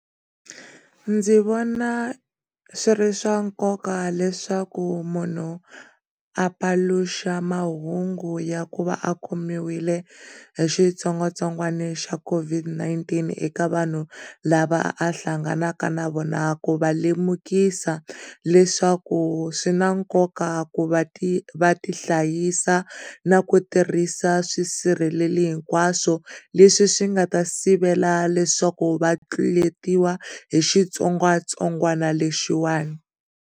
Ndzi vona swi ri swa nkoka leswaku munhu apaluxa mahungu ya ku va a khomile hi xitsongwatsongwana xa COVID-19 eka vanhu lava a hlanganeke na vona ku va lemukisa leswaku swi na nkoka ku va va ti hlayisa na ku tirhisa swisirheleli hinkwaswo leswi swi nga ta sivela leswaku vatluleriwa hi xitsongwatsongwana lexiwani.